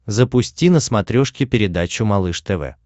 запусти на смотрешке передачу малыш тв